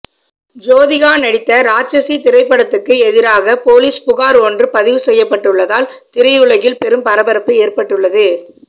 ஜோதிகா நடித்த ராட்சசி திரைப்படத்துக்கு எதிராக போலீஸ் புகார் ஒன்று பதிவு செய்யப்பட்டுள்ளதால் திரையுலகில் பெரும் பரபரப்பு ஏற்பட்டுள்ளது